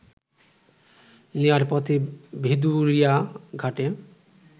নেয়ার পথে ভেদুরিয়া ঘাটে